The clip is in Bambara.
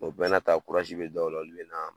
O bɛɛ na ta be dɔw la , olu be na